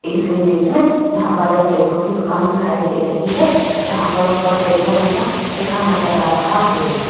इस इमेज में यहां पर एक टैटू की दुकान दिखाई दे रही है जहां पर ऊपर टैटू नशा लिखा नजर आ रहा है।